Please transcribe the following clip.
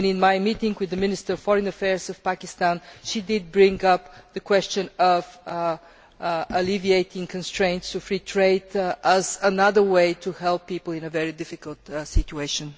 In my meeting with the Minister for Foreign Affairs of Pakistan, she did bring up the question of alleviating constraints to free trade as another way to help people in a very difficult situation.